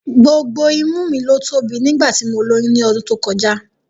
Gbogbo imú mi ló tóbi nígbà tí mo lóyún ní ọdún tó kọjá